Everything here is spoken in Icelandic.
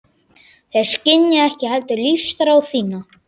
Þeir skynja ekki heldur lífsþrá þína.